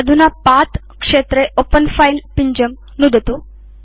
अधुना पथ क्षेत्रे ओपेन fileपिञ्जं नुदतु